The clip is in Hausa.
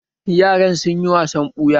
Yaran sun yi wasan ɓuya